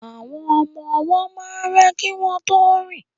Àwọn ọmọ ọwọ́ máa ń rá kí wọ́n tó rìn